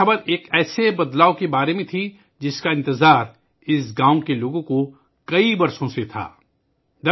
یہ خبر اس تبدیلی کی تھی ، جس کا اس گاؤں کے لوگ کئی سالوں سے انتظار کر رہے تھے